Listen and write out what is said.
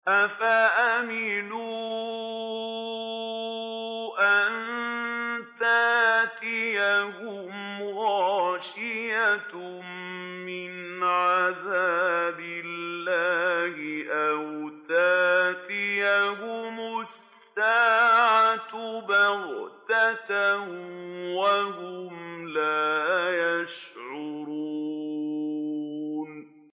أَفَأَمِنُوا أَن تَأْتِيَهُمْ غَاشِيَةٌ مِّنْ عَذَابِ اللَّهِ أَوْ تَأْتِيَهُمُ السَّاعَةُ بَغْتَةً وَهُمْ لَا يَشْعُرُونَ